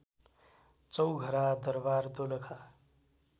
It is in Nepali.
चौघरा दरवार दोलखा